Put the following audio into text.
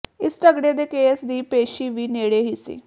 ਇਸ ਝਗੜੇ ਦੇ ਕੇਸ ਦੀ ਪੇਸ਼ੀ ਵੀ ਨੇੜੇ ਹੀ ਸੀ